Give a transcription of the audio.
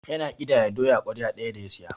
Yana ƙidaya doya ƙwarya ɗaya da ya saya.